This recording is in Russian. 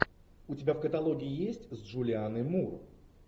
у тебя в каталоге есть с джулианной мур